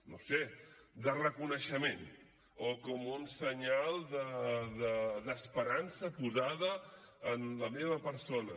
no ho sé de reconeixement o com un senyal d’esperança posada en la meva persona